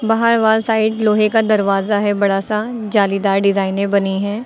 बाहर wall side लोहे का दरवाजा है बड़ा सा जालीदार डिजाइने बनी है।